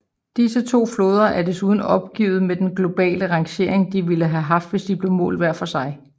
Disse to floder er desuden opgivet med den globale rangering de ville haft hvis de blev målt hver for sig